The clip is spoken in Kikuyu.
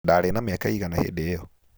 Ndarĩ na mĩaka ĩigana hĩndĩ ĩyo?